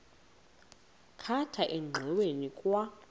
khatha engxoweni kwa